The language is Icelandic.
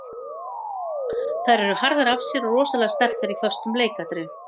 Þær eru harðar af sér og rosalega sterkar í föstum leikatriðum.